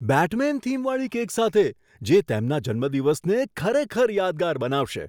Batsman થીમવાળી cake સાથે, જે તેમના જન્મદિવસને ખરેખર યાદગાર બનાવશે!